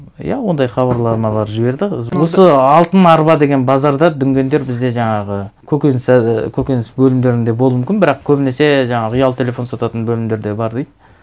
иә ондай хабарламалар жіберді осы алтын арба деген базарда дүнгендер бізде жаңағы і көкөніс бөлімдерінде болуы мүмкін бірақ көбінесе жаңағы ұялы телефон сататын бөлімдерде бар дейді